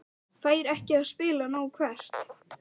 Fær ekki að spila nóg Hvert?